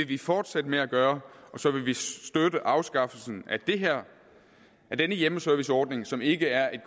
vi fortsætte med at gøre og så vil vi støtte afskaffelsen af denne hjemmeserviceordning som ikke er en